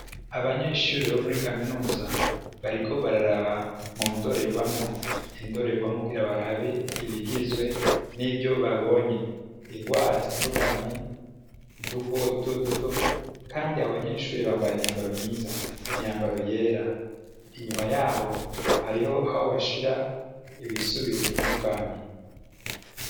Abanyeshure bo muri kaminuza bariko bararaba mu ndorerwamwo indorerwamwo kugira barabe ibigizwe nivyo babonye ingwara zitandukanye uduko dutoduto kandi abanyeshure bambaye imyambaro mwiza imyambaro yera inyuma yaho hariho aho bashira ibisubizo bitandukanye.